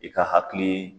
I ka hakili